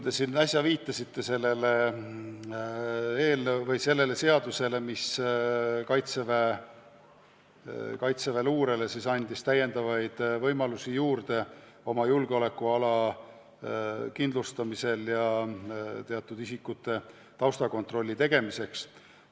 Te viitasite siin sellele seadusele, mis annab kaitseväeluurele täiendavaid võimalusi oma julgeolekuala kindlustamiseks ja teatud isikute taustakontrolli tegemiseks.